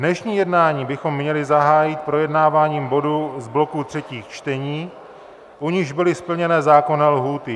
Dnešní jednání bychom měli zahájit projednáváním bodů z bloku třetích čtení, u nichž byly splněny zákonné lhůty.